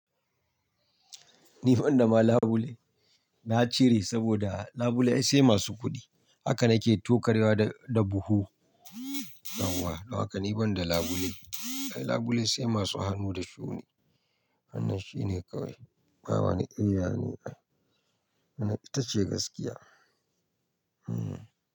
Ni ban da ma labule, na cire saboda labule sai masu kuɗi. Haka nake tokarwa da buhu. Nawa haka ni ban da labule. Ai labule sai masu hannu da shuni. Wannan shine kawai. Baba na ƙiwya ne ai. Wannan ita ce gaskiya. Hmm.